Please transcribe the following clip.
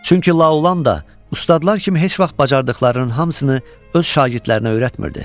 Çünki La Olan da ustadlar kimi heç vaxt bacardıqlarının hamısını öz şagirdlərinə öyrətmirdi.